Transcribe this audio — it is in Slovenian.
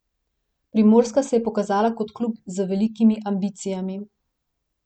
Primorska se je pokazala kot klub z velikimi ambicijami.